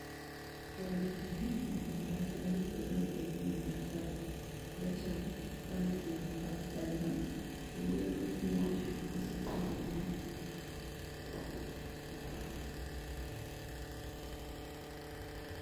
ore tene naa oldakitari ogira aipim entasat pressure naa enetipat ena piiyiolou biotisho osesen lino.